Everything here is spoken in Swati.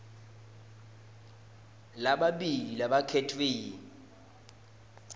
lamabili labakhetfwe yi